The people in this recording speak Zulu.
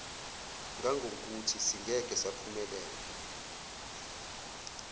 ngangokuthi singeke saphumelela